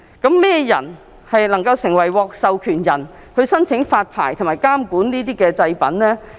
甚麼人能夠獲授權發牌和監管這些製品呢？